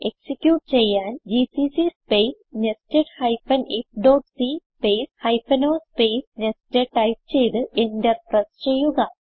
execute ചെയ്യാൻ GCC space nested ifസി space hyphen o space nested type ചെയ്ത് enter press ചെയ്യുക